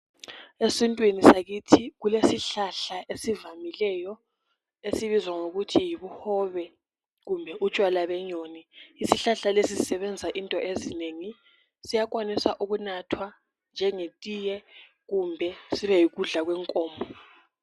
Esintwini sakithi kulesihlahla esivamileyo esibizwa ngokuthi yibuhobe kumbe utshwala benyoni isihlahla lesi susebenza into ezinengi siyakwanosa ukunathea njengeTiye kumbe sibe yikudla kwenkomo